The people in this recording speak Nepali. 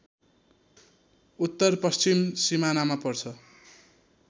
उत्तरपश्चिम सिमानामा पर्छ